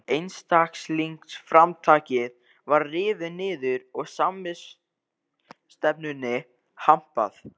Einstaklingsframtakið var rifið niður og samvinnustefnunni hampað.